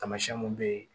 Tamasiyɛn mun bɛ yen